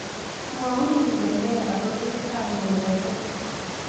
Mwaun ile nee arorunetap ng'olyot oo